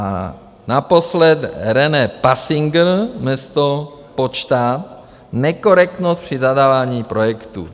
A naposled René Passinger, město Potštát: Nekorektnost při zadávání projektu.